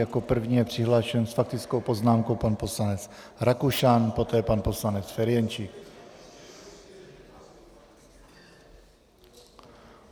Jako první je přihlášen s faktickou poznámkou pan poslanec Rakušan, poté pan poslanec Ferjenčík.